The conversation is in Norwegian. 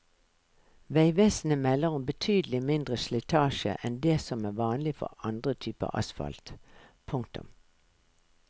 Veivesenet melder om betydelig mindre slitasje enn det som er vanlig for andre typer asfalt. punktum